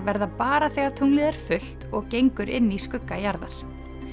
verða bara þegar tunglið er fullt og gengur inn í skugga jarðar